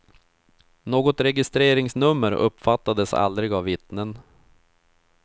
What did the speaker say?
Något registreringsnummer uppfattades aldrig av vittnen.